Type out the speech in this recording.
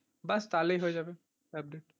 ব্যাস তাহলেই হয়ে যাবে update,